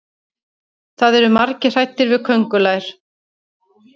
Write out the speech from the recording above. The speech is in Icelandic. það eru margir hræddir við köngulær